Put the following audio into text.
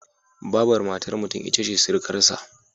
Babar matar mutum ita ce sirikarsa.